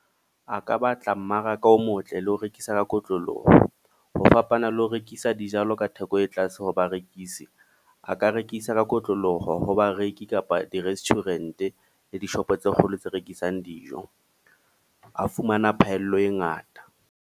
A ka batla mmaraka o motle le ho rekisa ka kotloloho. Ho fapana le ho rekisa dijalo ka theko e tlase ho barekisi. A ka rekisa ka kotloloho ho bareki kapa di-restaurant, le dishopo tse kgolo tse rekisang dijo. A fumana phaello e ngata.